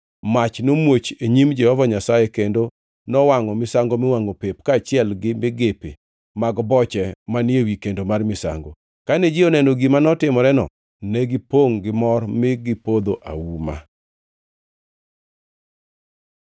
Mach nomuoch e nyim Jehova Nyasaye kendo nowangʼo misango miwangʼo pep kaachiel gi migepe mag boche manie wi kendo mar misango. Kane ji oneno gima notimoreno, negipongʼ gimor mi gipodho auma.